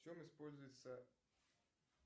в чем используется